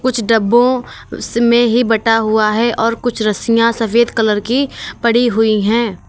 कुछ डब्बो में ही बँटा हुआ है और कुछ रस्सियाँ सफेद कलर की पड़ी हुई हैं।